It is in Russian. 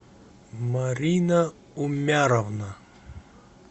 марина умяровна